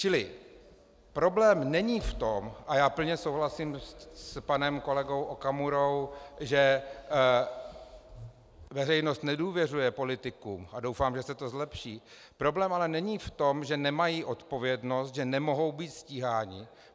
Čili problém není v tom - a já plně souhlasím s panem kolegou Okamurou -, že veřejnost nedůvěřuje politikům, a doufám, že se to zlepší, problém ale není v tom, že nemají odpovědnost, že nemohou být stíháni.